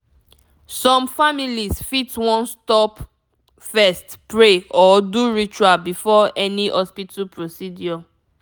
some families fit wan stop first pray or do ritual before any hospital procedure